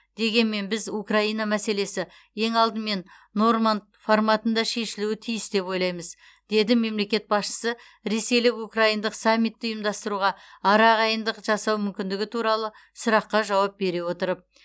дегенмен біз украина мәселесі ең алдымен норманд форматында шешілуі тиіс деп ойлаймыз деді мемлекет басшысы ресейлік украиндық саммитті ұйымдастыруға арағайындық жасау мүмкіндігі туралы сұраққа жауап бере отырып